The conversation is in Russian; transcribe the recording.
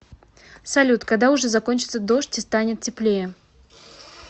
салют когда уже закончится дождь и станет теплее